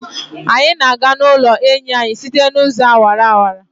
Anyị na-aga n'ụlọ enyi anyị site n'ụzọ awara awara.